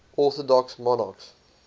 orthodox monarchs